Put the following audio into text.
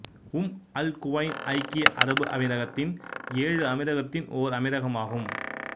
உம் Al Quwain ஐக்கிய அரபு அமீரகத்தின் ஏழு அமீரகத்தின் ஓர் அமீரகமாகும்